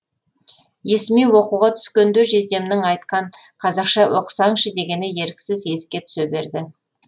есіме оқуға түскенде жездемнің айтқан қазақша оқысаңшы дегені еріксіз еске түсе берді